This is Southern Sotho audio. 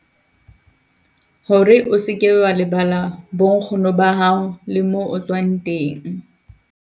Ho re o seke wa lebala bo nkgono ba hao le mo o tswang teng.